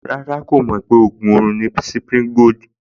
Rárá, kò mọ̀ pé ògùn orun ni Cipri Gold